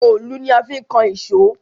Òòlù ni a fi ń kan ìṣó